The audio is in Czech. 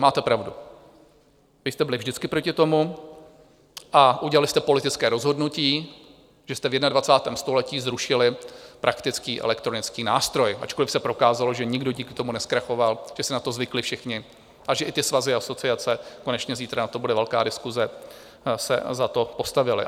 Máte pravdu, vy jste byli vždycky proti tomu a udělali jste politické rozhodnutí, že jste v 21. století zrušili praktický elektronický nástroj, ačkoliv se prokázalo, že nikdo díky tomu nezkrachoval, že si na to zvykli všichni a že i ty svazy a asociace - konečně zítra na to bude velká diskuze - se za to postavily.